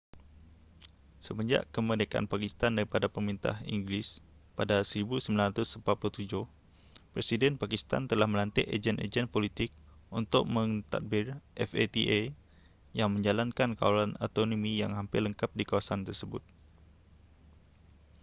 semenjak kemerdekaan pakistan daripada pemerintahan inggeris pada 1947 presiden pakistan telah melantik ejen-ejen politik untuk mentadbir fata yang menjalankan kawalan autonomi yang hampir lengkap di kawasan tersebut